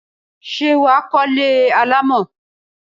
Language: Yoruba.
Ṣé wà á kọ́lé alámọ̀?